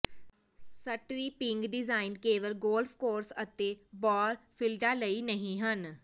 stripping design ਕੇਵਲ golf course ਅਤੇ ਬਾਲਫੀਲਡਾਂ ਲਈ ਨਹੀਂ ਹਨ